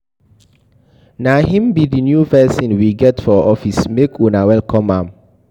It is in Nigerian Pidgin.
Na him be the new person we get for office make una welcome am